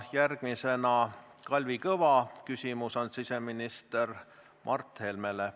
Järgmisena on Kalvi Kõva küsimus siseminister Mart Helmele.